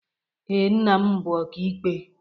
Ee, nna m bụ ọkaikpe.